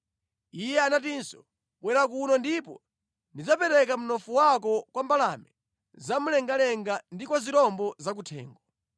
Iye anatinso, “Bwera kuno ndipo ndidzapereka mnofu wako kwa mbalame zamlengalenga ndi kwa zirombo zakuthengo!”